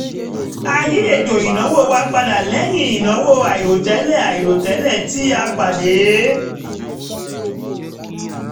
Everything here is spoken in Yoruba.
a yí um ètò ìnáwó wa padà lẹ́yìn ìnáwó àìròtẹ́lẹ̀ àìròtẹ́lẹ̀ tí a pàdé